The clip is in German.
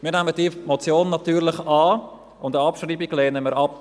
Wir nehmen diese Motion natürlich an, und eine Abschreibung lehnen wir ab.